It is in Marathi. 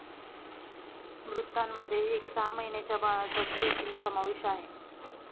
मृतांमध्ये एका सहा महिन्यांच्या बाळाचा देखील समावेश आहे.